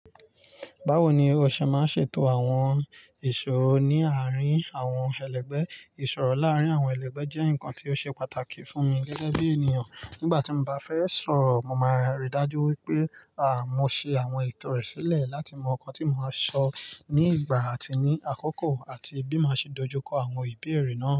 Báwo ni o ṣe máa ń ṣètò àwọn ìṣòro ní àárín àwọn ẹlẹgbẹ́? Ìṣòro láàárín àwọn ẹlẹgbẹ́ jẹ́ nǹkan tí ó ṣe pàtàkì fún mi gẹ́gẹ́ bí ènìyàn. Nígbà tí mo bá fẹ́ sọ̀rọ̀, mo máa ríi dájú wípé, mo ṣe àwọn ètò rẹ̀ sílẹ̀ láti mọ ohun tí mo máa sọ nígbà àti ní àkókò àti bí mo ṣe máa dojúkọ àwọn ìbéèrè náà.